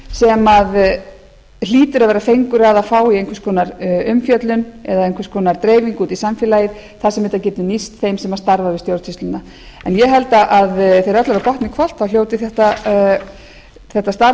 hlýtur að vera fengur að vera að fá í einhvers konar umfjöllun eða einhvers konar dreifingu út í samfélagið þar sem þetta getur nýst þeim sem starfa við stjórnsýsluna ég held að þegar öllu er á botninn hvolft þá hljóti þetta starf